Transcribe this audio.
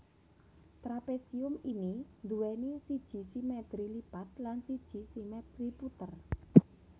Trapésium ini nduwèni siji simètri lipat lan siji simètri puter